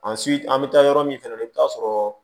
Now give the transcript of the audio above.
An si an bɛ taa yɔrɔ min fɛnɛ i bɛ taa sɔrɔ